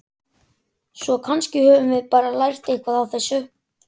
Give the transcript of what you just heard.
Svo kannski höfum við bara lært eitthvað á þessu.